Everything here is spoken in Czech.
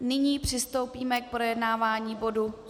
Nyní přistoupíme k projednávání bodu